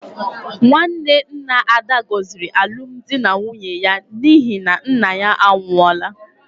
Nwanne nna Ada gọziri alụmdi na nwunye ya n’ihi na nna ya anwụọla.